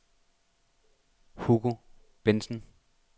Hugo Bengtsen